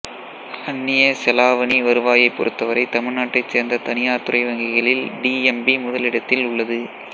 அந்நிய செலாவணி வருவாயைப் பொறுத்தவரை தமிழ்நாட்டைச் சேர்ந்த தனியார் துறை வங்கிகளில் டி எம் பி முதலிடத்தில் உள்ளது